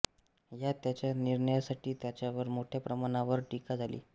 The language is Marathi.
ह्या त्याच्या निर्णयासाठी त्याच्यावर मोठ्या प्रमाणावर टीका झाली